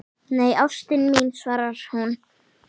Nei, ástin mín, svarar hún.